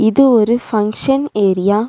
இது ஒரு function area .